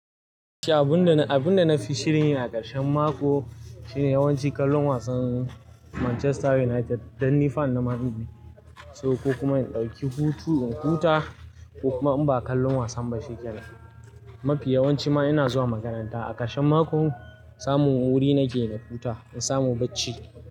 Abun da, abun da na fi shirin yi a ƙarshen mako shine yawanci kallon wasan Manchester United dan ni fan na Man Utd ne. So ko kuma in dauki hutu in huta ko kuma in ba kallon wasan ba shikenan. Mafi yawanci ma ina zuwa makaranta a ƙarshen makon samun wuri nake na huta in samu bacci.